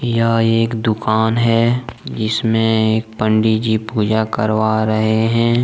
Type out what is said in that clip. यह एक दुकान है जिस में एक पंडित जी पूजा करवा रहे हैं।